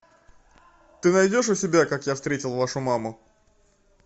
ты найдешь у себя как я встретил вашу маму